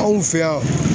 Anw fɛ yan